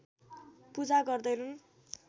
पूजा गर्दैनन्